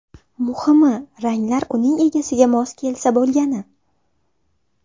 Muhimi, ranglar uning egasiga mos kelsa bo‘lgani.